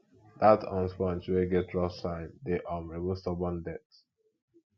dat um sponge wey get rough side dey um remove stubborn dirt